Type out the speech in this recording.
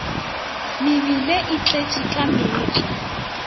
mebile e tletše ka meetlwa